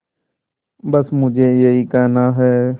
बस मुझे यही कहना है